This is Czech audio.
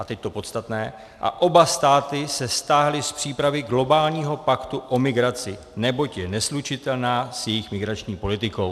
A teď to podstatné: a oba státy se stáhly z přípravy globálního paktu o migraci, neboť je neslučitelná s jejich migrační politikou.